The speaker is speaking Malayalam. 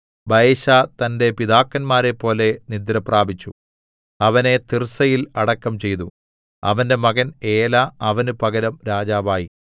ബയെശാ തന്റെ പിതാക്കന്മാരെപ്പോലെ നിദ്രപ്രാപിച്ചു അവനെ തിർസ്സയിൽ അടക്കം ചെയ്തു അവന്റെ മകൻ ഏലാ അവന് പകരം രാജാവായി